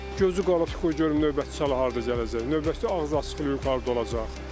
Gözü qalıb ki, qoy görüm növbəti sal hara gələcək, növbəti ağız açılış yuxarıda olacaq.